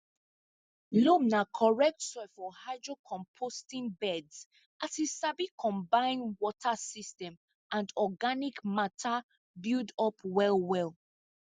loam na correct soil for hydrocomposting beds as e sabi combine water system and organic matter buildup well well